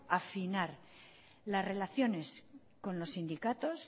afinar las relaciones con los sindicatos